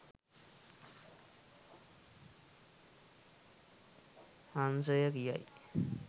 හංසය කියයි.